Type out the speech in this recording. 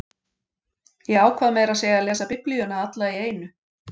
Ég ákvað meira að segja að lesa Biblíuna alla í einu